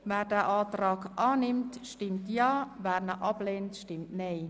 Wer den Antrag annimmt, stimmt Ja, wer diesen ablehnt, stimmt Nein.